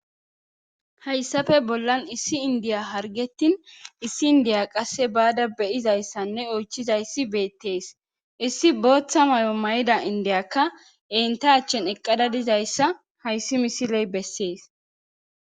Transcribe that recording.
hayssafe bollan issi indiya hargettin issi indiya qasse baada beyizayssanne oychizayssi beettees issi booththa may7o mayda indiyakka enta achchen eqqada dizayssa hayssi misiley bessees